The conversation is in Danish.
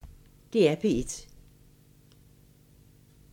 DR P1